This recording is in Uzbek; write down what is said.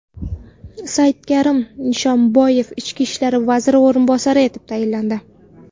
Saidkarim Nishonboyev ichki ishlar vaziri o‘rinbosari etib tayinlandi.